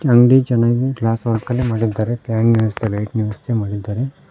ಅಂಗಡಿ ಚೆನ್ನಾಗಿ glass work ಅಲ್ಲಿ ಮಾಡಿದ್ದಾರೆ ಫ್ಯಾನ್ ನ ಲೈಟ್ ನ ವ್ಯವಸ್ಥೆ ಮಾಡಿದ್ದಾರೆ.